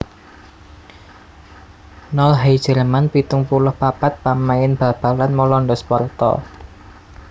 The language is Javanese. Nol Heijerman pitung puluh papat pamain bal balan Walanda Sparta